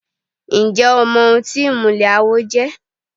Ǹjẹ́ o mọ ohun tí ìmùlẹ̀ àwo jẹ́?